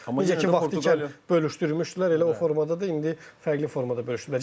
Necə ki vaxtı ilə bölüşdürmüşdülər, elə o formada da indi fərqli formada bölüşdürüblər.